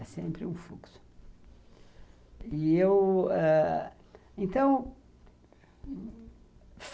É sempre o fluxo. E eu ãh, então